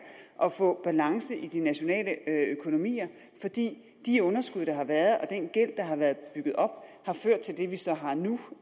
at få balance i de nationale økonomier fordi de underskud der har været og den gæld der har været bygget op har ført til det vi så har nu